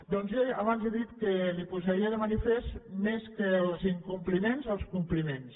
doncs jo abans li he dit que li posaria de manifest més que els incompliments els compliments